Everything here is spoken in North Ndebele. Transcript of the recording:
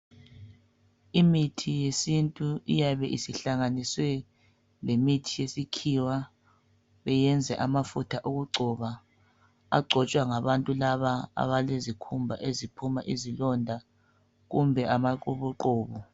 Imithi yesintu iyabe isihlanganisiwe lemithi yesikhiwa beyenze amafutha okugcoba agcotshwa ngabantu laba abalezikhumba eziphuma izilonda kumbe amaqubuqubu.